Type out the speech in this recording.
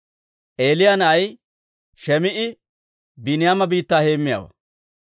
Eeliyaa na'ay Shim"i Biiniyaama biittaa heemmiyaawaa.